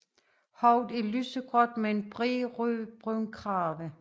Hovedet er lysegråt med en bred rødbrun krave